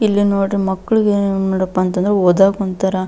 ಇಲ್ಲಿ ನೋಡಿದ್ರೆ ಮಕ್ಕಳಿಗೆ ನೋಡಪ್ಪ ಅಂತಂದ್ರೆ ಓದಾಕ್ ಒಂತರ.